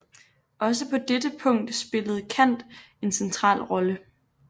Også på dette punkt spillede Kant en central rolle